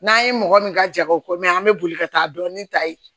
N'an ye mɔgɔ min ka jago ko mɛ an bɛ boli ka taa dɔɔni ta yen